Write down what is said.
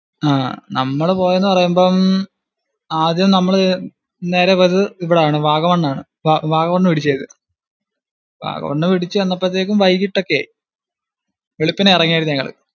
ആഹ് നമ്മള് പോയെന്നു പറയുമ്പം ആദ്യം നമ്മള് നേരെ പോയത് ഇവിടാണ്, വാഗമൺ ആണ്, വാഗമൺ പിടിച്ചു ചെയ്തു, വാഗമണ് പിടിച്ചു ചെന്നപ്പോഴേക്കും വൈകിട്ടൊക്കെ ആയി, വെളുപ്പിന് ഇറങ്ങിയാരുന്നു ഞങ്ങള്